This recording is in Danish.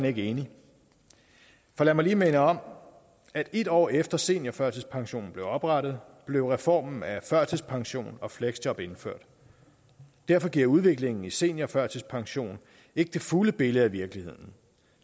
ikke enig for lad mig lige minde om at et år efter at seniorførtidspensionen blev oprettet blev reformen af førtidspensionen og fleksjob indført derfor giver udviklingen i seniorførtidspension ikke det fulde billede af virkeligheden